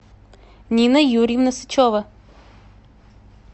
нина юрьевна сычева